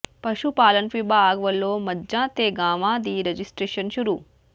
ਪਸ਼ੂ ਪਾਲਣ ਵਿਭਾਗ ਵੱਲੋਂ ਮੱਝਾਂ ਤੇ ਗਾਵਾਂ ਦੀ ਰਜਿਸਟਰੇਸ਼ਨ ਸ਼ੁਰੂ